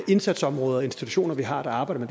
indsatsområder og institutioner vi har der arbejder